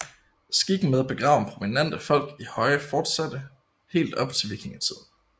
Skikken med at begrave prominente folk i høje fortsatte helt op til vikingetiden